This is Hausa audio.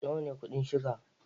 Nawa ne kuɗin shuga?